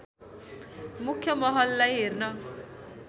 मुख्‍य महललाई हेर्न